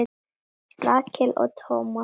Rakel og Thomas.